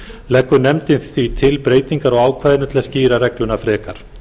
leggur nefndin því til breytingar á ákvæðinu til að skýra regluna frekar